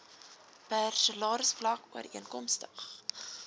per salarisvlak ooreenkomstig